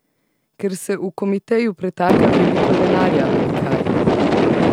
Ker se v komiteju pretaka veliko denarja, ali kaj?